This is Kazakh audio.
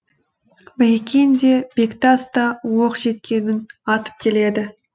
байекең де бектас та оқ жеткенін атып келеді